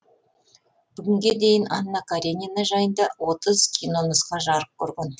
бүгінге дейін анна каренина жайында отыз кинонұсқа жарық көрген